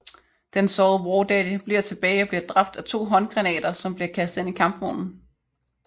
Den sårede Wardaddy bliver tilbage og bliver dræbt af to håndgranater som bliver kastet ind i kampvognen